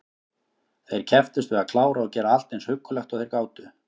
Þeir kepptust við að klára og gera allt eins huggulegt og þeir gátu.